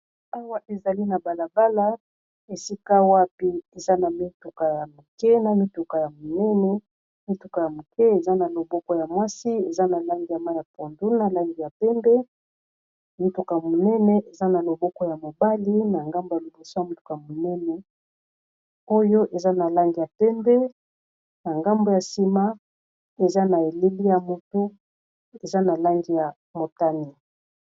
Awa ezali na balabala esika wapi eza na mituka ya mokie na mituka ya monene mituka ya mokie eza na loboko ya mwasi eza na langi ya may'a pondu na langi ya pembe mituka monene eza na loboko ya mobali na ngambo ya liboso ya mituka monene oyo eza na langi ya pembe na ngambo ya sima eza na elili ya motu eza na langi ya motani.